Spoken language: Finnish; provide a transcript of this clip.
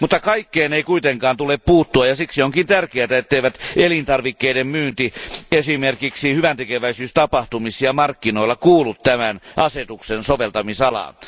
Kaikkeen ei kuitenkaan tule puuttua, ja siksi onkin tärkeää, ettei elintarvikkeiden myynti esimerkiksi hyväntekeväisyystapahtumissa ja markkinoilla kuulu tämän asetuksen soveltamisalaan.